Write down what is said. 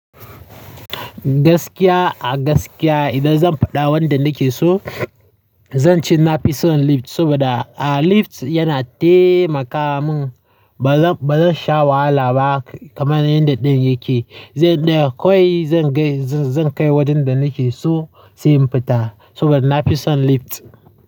Gaskiya a gaskiya idan zan faɗa wanda nake so, zan ce na fi son lift. Saboda a lift yana taimaka mun, ba zan, ba zan sha wahala ba kamar yadda ɗayan yake. Zai ɗaya kawai zan kai, zan kai wajen da nake so sai in fita. Saboda na fi son lift.